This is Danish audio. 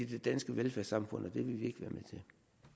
det danske velfærdssamfund og det vil vi ikke være med